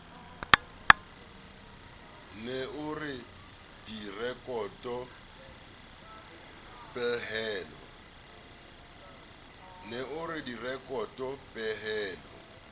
ne o re direkoto pehelo